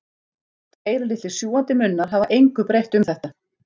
Tveir litlir sjúgandi munnar hafa engu breytt um þetta.